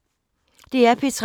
DR P3